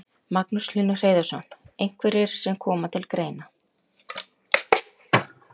Magnús Hlynur Hreiðarsson: Einhverjir sem koma til greina?